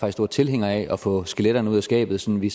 er stor tilhænger af at få skeletterne ud af skabet så vi